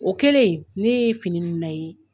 O kɛlen, ne ye fini ninnu